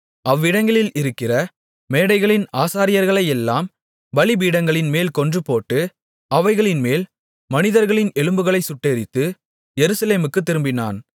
அவ்விடங்களில் இருக்கிற மேடைகளின் ஆசாரியர்களையெல்லாம் பலிபீடங்களின்மேல் கொன்றுபோட்டு அவைகளின்மேல் மனிதர்களின் எலும்புகளைச் சுட்டெரித்து எருசலேமுக்குத் திரும்பினான்